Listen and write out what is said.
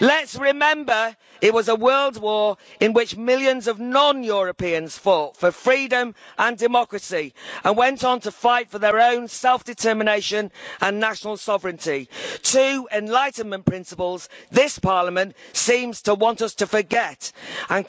Let's remember it was a World War in which millions of non Europeans fought for freedom and democracy and went on to fight for their own self determination and national sovereignty two Enlightenment principles that this Parliament seems to want us to forget, and